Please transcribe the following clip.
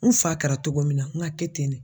N fa kɛra togo min na n ka kɛ ten de.